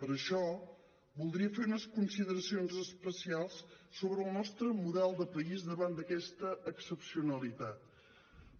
per això voldria fer unes consideracions especials sobre el nostre model de país davant d’aquesta excepcionalitat